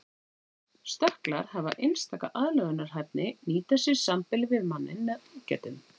Stökklar hafa einstaka aðlögunarhæfni nýta sér sambýli við manninn með ágætum.